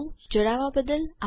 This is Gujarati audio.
જોડાવા બદ્દલ આભાર